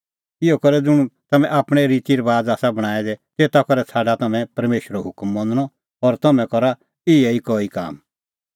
इहअ करै ज़ुंण तम्हैं आपणैं रितीरबाज़ आसा बणांऐं दै तेता करै छ़ाडा तम्हैं परमेशरो हुकम मनणअ और तम्हैं करा इहै कई काम